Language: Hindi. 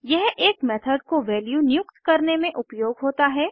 यह एक मेथड को वैल्यू नियुक्त करने में उपयोग होता है